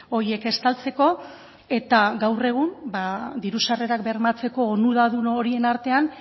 horiek estaltzeko eta gaur egun ba diru sarrerak bermatzeko onuradun horien artean